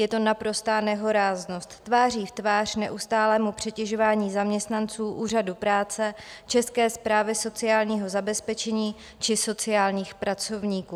Je to naprostá nehoráznost tváří v tvář neustálému přetěžování zaměstnanců úřadů práce, České správy sociálního zabezpečení či sociálních pracovníků.